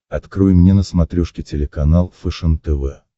открой мне на смотрешке телеканал фэшен тв